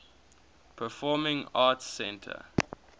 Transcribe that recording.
performing arts center